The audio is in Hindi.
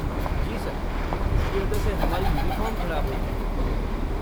जी सर, इसकी वजह से हमारी यूनिफ़ॉर्म ख़राब होती है।